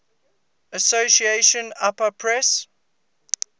association apa press